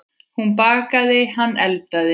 Hún bakaði, hann eldaði.